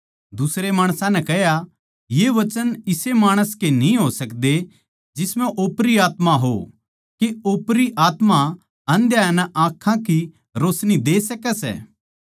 दुसरे माणसां नै कह्या ये वचन इसे माणस की न्ही हो सकदे जिसम्ह ओपरी आत्मा हो के ओपरी आत्मा आन्धयां नै आँखां की रोशनी दे सकै सै